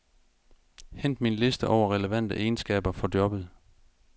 Hent min liste over relevante egenskaber for jobbet.